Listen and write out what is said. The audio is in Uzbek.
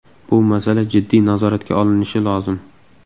Bu masala jiddiy nazoratga olinishi lozim.